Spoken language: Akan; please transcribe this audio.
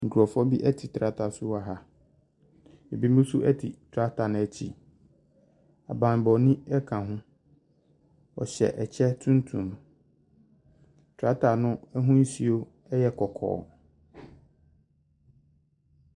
Nkurɔfoɔ bi te tractor so wɔ ha, binom nso te tractor no akyi, abambɔni ka ho, ɔhyɛ kyɛ tuntum, tractor no ahosuo yɛ kɔkɔɔ.